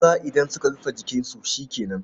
Maza idan suka rufe jikinsu shi ke nan.